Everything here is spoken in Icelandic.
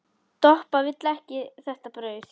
Doppa vill ekki þetta brauð.